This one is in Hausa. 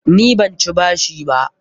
Ni ban ci bashi ba.